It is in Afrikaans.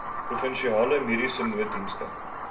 provinsiale mediese nooddienste